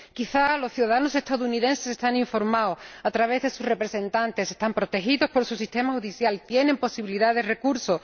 Quizá los ciudadanos estadounidenses están informados a través de sus representantes, están protegidos por su sistema judicial y tienen posibilidad de recurso.